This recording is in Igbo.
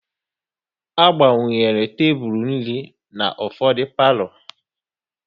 A gbakwunyere tebụl nri na ufọdụ palo